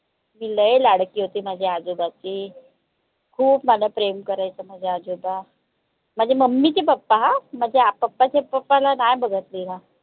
मी लय लाडकी होती माझ्या आजोबाची खूप मला प्रेम करायचे माझे आजोबा माझ्या mummy चे papa ह माझ्या papa च्या papa ला नाय बघतली मिन